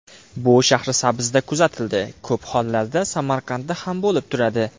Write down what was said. Bu Shahrisabzda kuzatildi, ko‘p hollarda Samarqandda ham bo‘lib turadi.